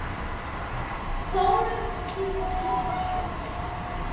Förum í tívolí og fleira.